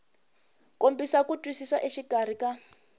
kombisa ku twisisa exikarhi ka